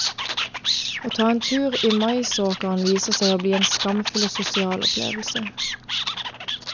Å ta en tur i maisåkeren viser seg å bli en smakfull og sosial opplevelse.